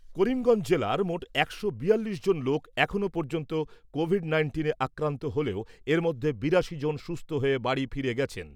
করিমগঞ্জ জেলার মোট একশো বিয়াল্লিশ জন লোক এখনও পর্যন্ত কোভিড নাইন্টিনে আক্রান্ত হলেও এর মধ্যে বিরাশি জন সুস্থ হয়ে বাড়ি ফিরে গেছেন।